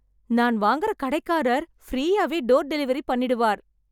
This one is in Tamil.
நான் வாங்கற கடைக்காரர் ஃப்ரீயாவே டோர் டெலிவரி பண்ணிடுவார்.